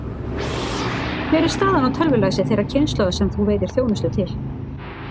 Hver er staðan á tölvulæsi þeirrar kynslóðar sem þú veitir þjónustu til?